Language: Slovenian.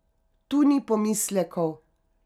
Tu ni pomislekov.